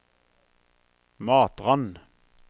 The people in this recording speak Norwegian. Matrand